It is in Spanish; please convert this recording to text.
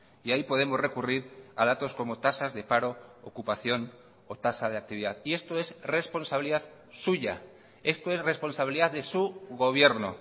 y ahí podemos recurrir a datos como tasas de paro ocupación o tasa de actividad y esto es responsabilidad suya esto es responsabilidad de su gobierno